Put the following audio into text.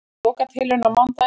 Lokatilraun á mánudaginn